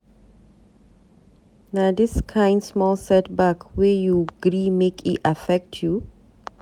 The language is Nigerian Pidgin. Na dis kain small set-back wey you gree make e affect you?